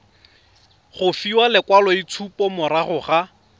go fiwa lekwaloitshupo morago ga